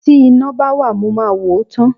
Tí iná bá wà mo máa wò ó tán.